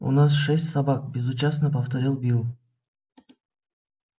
у нас шесть собак безучастно повторил билл